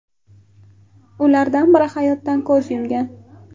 Ulardan biri hayotdan ko‘z yumgan.